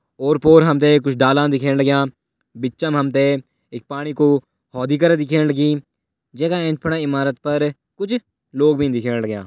और-पोर हमते कुछ डाला दिख्याणा लाग्यां बिचम हमते एक पाणी कु हौदी कर दिख्येण लगीं जेँका ऐंच पणा ईमारत पर कुछ लोग भी दिख्येणा लाग्यां।